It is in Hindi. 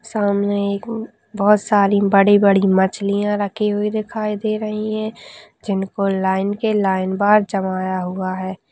सामने एक बहोत सारी बड़ी -बड़ी मछलियाँ रखी हुई दिखाई दे रही है जिनको लाइन के लाइन बार जमाया हुआ है।